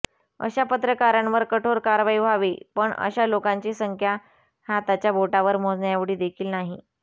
अशा पत्रकारांवर कठोर कारवाई व्हावी पण अशा लोकांची संख्या हाताच्या बोटावर मोजण्याएवढी देखील नाही